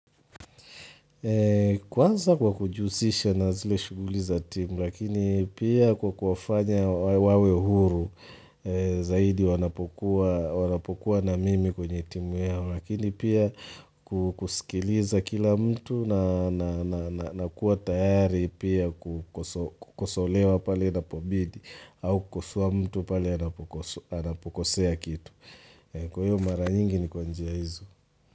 Kwanza kwa kujihusisha na zile shuguliza timu lakini pia kwa kufanya wawe huru zaidi wanapokua wanapokuwa na mimi kwenye timu yao lakini pia kukusikiliza kila mtu na kuwa tayari pia kukosolewa pale napobidi au kukosoa mtu pale anapokosea kitu. Kwa hiyo mara nyingi ni kwanjia izo.